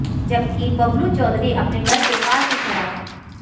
जबकि बबलू चौधरी अपने घर के पास ही खड़ा था